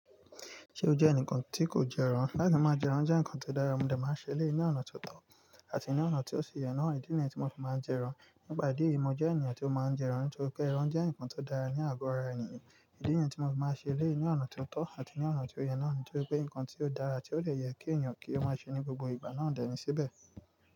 Ṣé ó jẹ́ ẹnìkan tí kò jẹran? Láti máa jẹran jẹ́ ǹkan tó dára, mo dà máa ń ṣe lé ní ọ̀nà tó tọ́ àti ní ọ̀nà tí ó sì yẹ náà. Ìdí nìyẹn tí mo fi máa ń jẹran. Nípa ìdí èyí mo jẹ́ ènìyàn tí ó má ń jẹ́ rán. Nítorí pé ẹran jẹ nkan yí ọ dá ní àgọ́ ara ènìyàn. Ìdí nìyẹn tí mo fi máa ń ṣe èléyìí ní ọ̀nà tó tọ́ àti ní ọ̀nà tí ó yẹ náà nítorí pé ǹkan tí ó dára tí ó dẹ̀ yẹ kí ènìyàn kí ó máa ṣe ní gbogbo ìgbà náà dà ní síbẹ̀